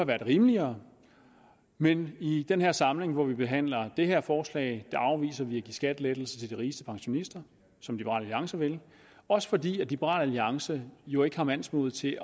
været rimeligere men i den her samling hvor vi behandler det her forslag afviser vi at give skattelettelser til de rigeste pensionister som liberal alliance vil også fordi liberal alliance jo ikke har mandsmodet til